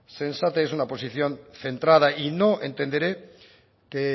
sensata y es una oposición centrada y no entenderé que